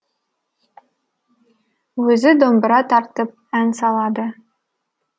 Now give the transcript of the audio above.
өзі домбыра тартып ән салады